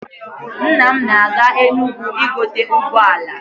Nna m na-aga Enugwu igote ụgbọala.